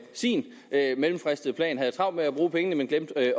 sin mellemfristede plan havde travlt med at bruge pengene men glemte at